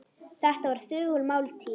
Þetta var þögul máltíð.